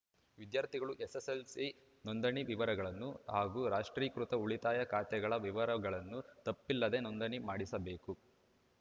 ವಿದ್ಯಾರ್ಥಿಗಳು ಎಸ್‌ಎಸ್‌ಎಲ್‌ಸಿ ನೊಂದಣಿ ವಿವರಗಳನ್ನು ಹಾಗೂ ರಾಷ್ಟ್ರೀಕೃತ ಉಳಿತಾಯ ಖಾತೆಗಳ ವಿವರಗಳನ್ನು ತಪ್ಪಿಲ್ಲದೆ ನೊಂದಣಿ ಮಾಡಿಸಬೇಕು